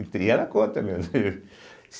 E ela conta mesmo.